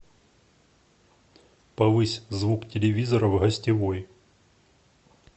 повысь звук телевизора в гостевой